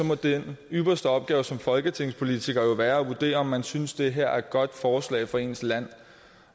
må den ypperste opgave som folketingspolitiker jo være at vurdere om man synes det her er et godt forslag for ens land